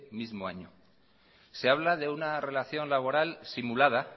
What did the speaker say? mismo año se habla de una relación laboral simulada